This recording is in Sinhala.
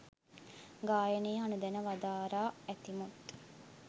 ගායනය අනුදැන වදාරා ඇතිමුත්